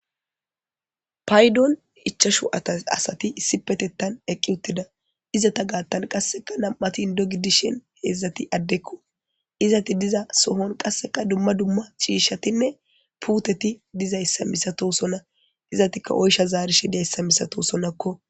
paydon ichashu asati issi petettan eqqi uttida izata gaattan qasseka nam7atin dogi dishen heedzdzati addekko izati diza sohon qasseka dumma dumma ciishatinne puuteti dizayssa misato sona izatikka oysha zaarishi diyayssa misato sonakko